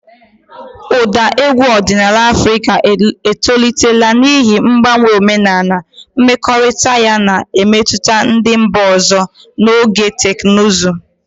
Ụda egwu ọdịnala Afrịka etolitela n'ihi mgbanwe omenala, mmekọrịta ya na mmetụta ndị mba ọzọ, na ọganihu teknụzụ.